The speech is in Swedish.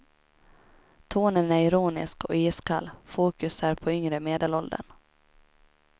Tonen är ironisk och iskall, fokus är på yngre medelåldern.